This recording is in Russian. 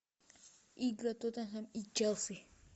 игры тоттенхэм и челси